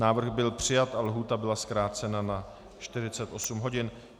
Návrh byl přijat a lhůta byla zkrácena na 48 hodin.